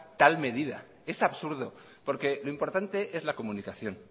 tal medida es absurdo lo importante es la comunicación